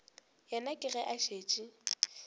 yena ke ge a šetše